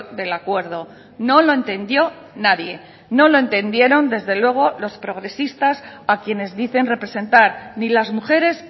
del acuerdo no lo entendió nadie no lo entendieron desde luego los progresistas a quienes dicen representar ni las mujeres